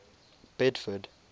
bedford